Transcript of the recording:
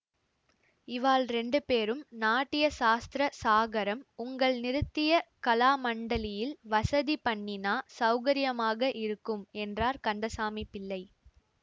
இவாள் ரெண்டு பேரும் நாட்டிய சாஸ்திர சாகரம் உங்கள் நிருத்திய கலாமண்டலியில் வசதி பண்ணினா சௌகரியமாக இருக்கும் என்றார் கந்தசாமி பிள்ளை